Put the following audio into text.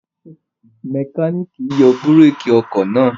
Mẹkáníkì náà yọ búrékì ọkọ̀ náà?